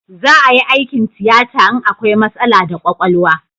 Za a yi aikin tiyata in akwai matsala da kwakwalwa